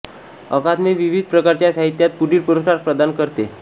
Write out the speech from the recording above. अकादमी विविध प्रकारच्या साहित्यात पुढील पुरस्कार प्रदान करते